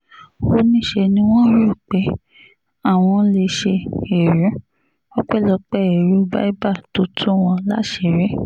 ó ní ṣe ni wọ́n rò pé àwọn lè ṣe ẹrú ọpẹ́lọpẹ́ èrò biber tó tú wọn láṣìírí